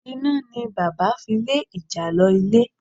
Iná ni bàbá fi lé ìjàlọ ilé.